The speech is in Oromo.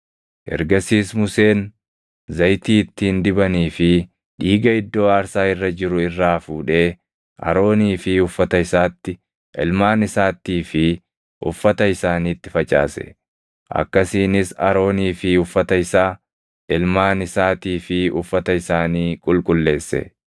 Ergasiis Museen zayitii ittiin dibanii fi dhiiga iddoo aarsaa irra jiru irraa fuudhee Aroonii fi uffata isaatti, ilmaan isaattii fi uffata isaaniitti facaase; akkasiinis Aroonii fi uffata isaa, ilmaan isaatii fi uffata isaanii qulqulleesse.